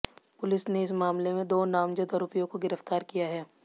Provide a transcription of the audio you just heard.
police ने इस मामले में दो नामजद आरोपियों को गिरफ्तार किया है